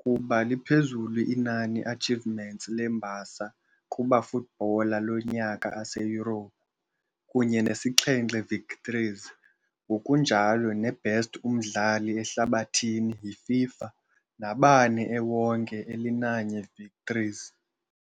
kuba liphezulu inani achievements lembasa kuba Footballer Lonyaka Aseyurophu, kunye nesixhenxe victories, ngokunjalo neBest umdlali ehlabathini yi-FIFA, nabane ewonke elinanye victories.